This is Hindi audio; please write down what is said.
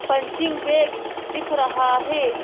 पंचिंग बैग दिख रहा है।